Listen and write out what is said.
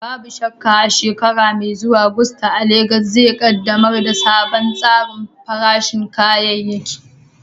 Babu shakka, a shekara mai zuwa, Gusto a Legas zai ƙaddamar da wani sabon tsarin farashin kayayyaki.